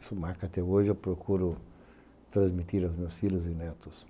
Isso marca, até hoje, eu procuro transmitir aos meus filhos e netos